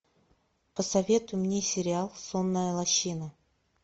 посоветуй мне сериал сонная лощина